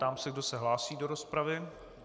Ptám se, kdo se hlásí do rozpravy.